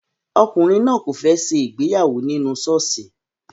Ọkùnrin náà kò fẹ́ ṣe ìgbéyàwó nínú ṣọ́ọ̀ṣì